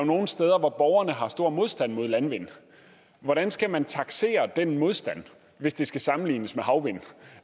nogle steder hvor borgerne har stor modstand mod landvind hvordan skal man taksere den modstand hvis det skal sammenlignes med havvind